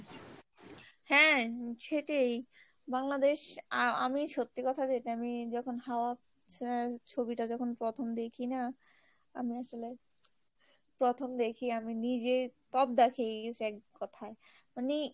হ্যাঁ সেটিই বাংলাদেশ আ আমি সত্যি কথাতে আমি যখন হওয়া ছবি টা যখন প্রথম দেখি না আমি আসলে, প্রথম দেখি আমি নিজেই তব্দা খেয়ে গেছি। এক কোথায় মানে